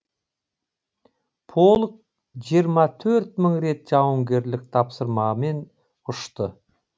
полк жиырма төрт мың рет жауынгерлік тапсырмамен ұшты